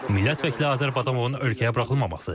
Milliət vəkili Azər Badamovun ölkəyə buraxılmaması.